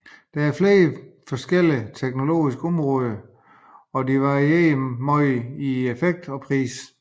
Der er flere forskellige teknologiske områder og de varierer meget i effekt og pris